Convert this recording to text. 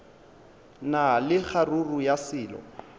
na le kgaruru ya selo